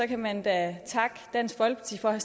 kan man da takke dansk folkeparti for at